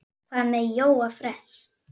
Hvað með Jóa fress?